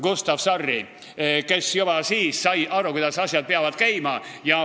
Gustav Sarri, kes juba siis sai aru, kuidas asjad peavad käima.